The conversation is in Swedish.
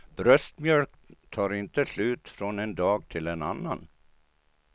Bröstmjölk tar inte slut från en dag till en annan.